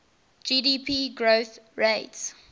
gdp growth rates